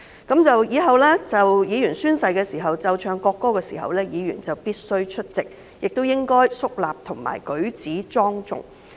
《條例草案》通過後，立法會宣誓儀式時會奏唱國歌，議員必須出席，並應該肅立及舉止莊重。